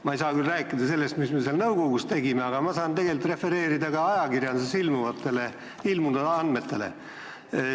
Ma ei saa küll rääkida sellest, mis me seal nõukogus tegime, aga ma saan refereerida ajakirjanduses ilmunud andmeid.